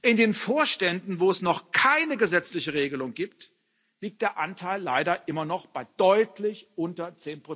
In den Vorständen, wo es noch keine gesetzliche Regelung gibt, liegt der Anteil leider immer noch bei deutlich unter